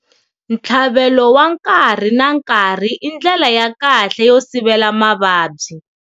Ntlhavelo wa nkarhi na nkarhi i ndlela ya kahle yo sivela mavabyi.